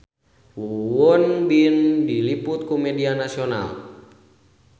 Won Bin diliput ku media nasional